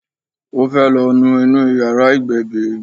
Ó fẹ́ lọ nu inú yàrá ìgbébí.